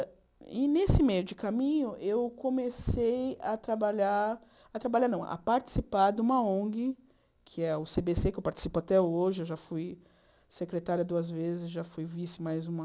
E, nesse meio de caminho, eu comecei a trabalhar, a trabalhar não, a participar de uma ong, que é o cê bê cê, que eu participo até hoje, eu já fui secretária duas vezes, já fui vice mais uma...